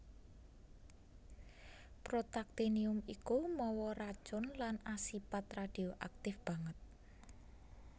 Protaktinium iku mawa racun lan asipat radioaktif banget